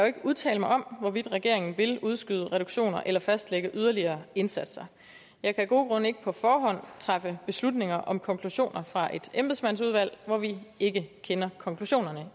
ikke udtale mig om hvorvidt regeringen vil udskyde reduktioner eller fastlægge yderligere indsatser jeg kan af gode grunde ikke på forhånd træffe beslutninger om konklusioner fra et embedsmandsudvalg hvor vi ikke kender konklusionerne